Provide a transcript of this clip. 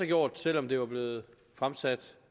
gjort selv om det var blevet fremsat